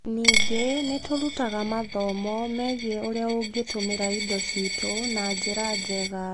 Ningĩ, nĩ tũrutaga athomo megie ũrĩa ũngĩtũmĩra indo citũ na njĩra njega.